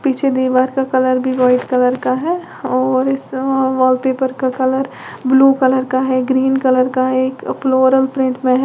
पीछे दीवार का कलर भी व्हाइट कलर का है और इस व वॉल पेपर का कलर ब्लू कलर का है ग्रीन कलर का है फ्लोवरल पेंट में है।